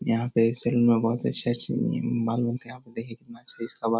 यहाँ पे एक सलून में बहुत अच्छी-अच्छी बाल बनते है। यहाँ पे देखिये कितना अच्छा इसका बाल --